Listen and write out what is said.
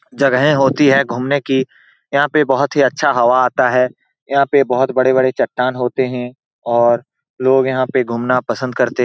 जगहे होती है घुमने की यहाँ पे बोहोत ही अच्छा हवा है यहाँ पे बोहोत बड़े-बड़े चट्टान होते है और लोग यहाँ पे घूमना पसंद करते --